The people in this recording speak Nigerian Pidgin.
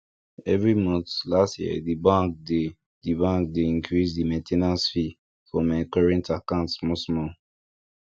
every month last year the bank dey the bank dey increase the main ten ance fee for my current account small small